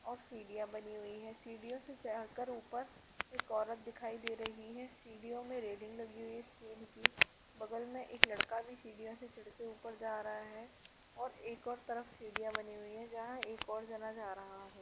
और सीढियाँ बनी हुई हैं सीढ़ियों से चढ़ कर ऊपर एक औरत दिखाई दे रही है सीढ़ियों में रेलिंग लगी हुई है स्टील की बगल में एक लड़का भी सीढ़ियों से चढ़ के ऊपर जा रहा है और एक और तरफ सीढियाँ बनी हुई है जहाँ एक और जना जा रहा है।